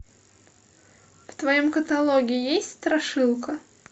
в твоем каталоге есть страшилка